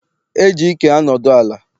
E ji ike anodu ala.